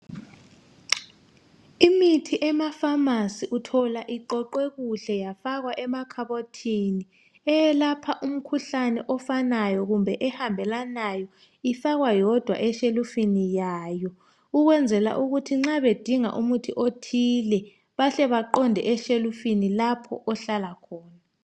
Imithi ema"pharmacy" uthola iqoqwe kuhle yafakwa emakhabothini. Eyelapha umkhuhlane ofanayo kumbe ehambelanayo ifakwa yodwa eshelufini yayo ukwenzela ukuthi nxa bedinga umuthi othile bahle baqonde eshelufini lapho ohlala okhona.